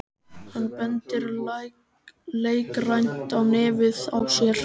Hann bendir leikrænt á nefið á sér.